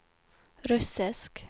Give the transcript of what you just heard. russisk